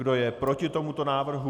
Kdo je proti tomuto návrhu?